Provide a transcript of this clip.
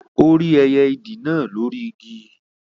Ó rí ẹyẹ ìdì náà lóri Igi